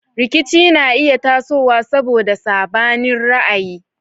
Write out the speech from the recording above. Rikici na iya tasowa saboda sabanin ra'ayi.